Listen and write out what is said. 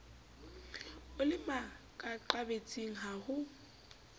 o le makaqabetsing ha ho